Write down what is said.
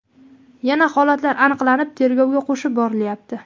Yana holatlar aniqlanib, tergovga qo‘shib borilyapti.